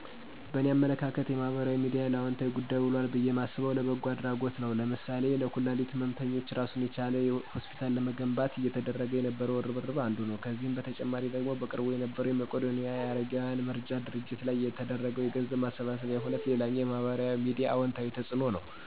በእኔ አመለካከት የማህበራዊ ሚድያ ለአወንታዊ ጉዳይ ውሏል ብየ ማስበው፣ ለበጎ አድረጎት ነዉ ለምሳሌ ለኩላሊት ህመምተኞች እራሱን የቻለ ሆስፒታል ለመገንባት እየተደረገ የነበረው እርብርብ አንዱ ነው። ከዚህ በተጨማሪ ደግሞ በቅርቡ የነበረዉ የመቄዶንያ የአረጋውያን መርጃ ድርጅት ላይ የተደረገው የገንዘብ ማሰባሰቢያ ሁነት ሌላኛው የማህበራዊ ሚዲያ አወንታዊ ተፅእኖ ነዉ።